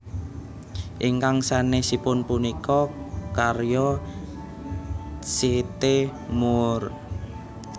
Ingkang sanèsipun punika karya C T Moore